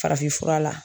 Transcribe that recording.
Farafinfura la